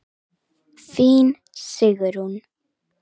Þín, Sigrún.